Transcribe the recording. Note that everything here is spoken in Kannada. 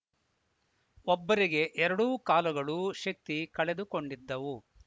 ಒಬ್ಬರಿಗೆ ಎರಡೂ ಕಾಲುಗಳೂ ಶಕ್ತಿ ಕಳೆದುಕೊಂಡಿದ್ದವು